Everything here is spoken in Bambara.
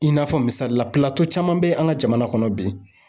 I n'a fɔ misalila pilato caman be an ka jamana kɔnɔ bi